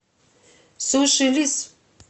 суши лис